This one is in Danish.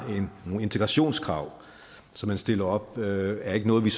nogle integrationskrav som man stiller op er ikke noget vi